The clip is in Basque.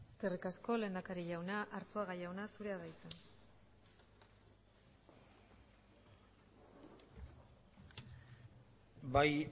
eskerrik asko lehendakari jauna arzuaga jauna zurea da hitza bai